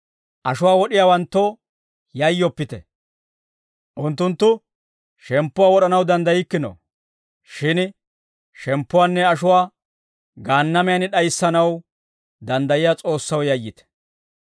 Ashuwaa wod'iyaawanttoo yayyoppite; unttunttu, shemppuwaa wod'anaw danddaykkino. Shin shemppuwaanne ashuwaa Gaannamiyan d'ayissanaw danddayiyaa S'oossaw yayyite.